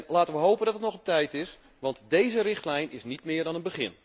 Laten we hopen dat het nog op tijd is, want deze richtlijn is niet meer dan een begin.